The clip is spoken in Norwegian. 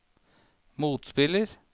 motspiller